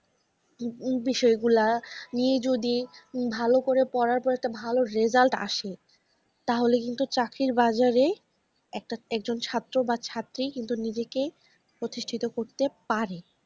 বিষয় গুলা নিয়ে যদি ভালো করে পড়ার পর একটা ভালো result আসে তাহলে কিন্তু চাকরির বাজারে একটা একজন ছাত্র বা ছাত্রী কিন্তু নিজেকে প্রতিষ্ঠিত করতে পারে।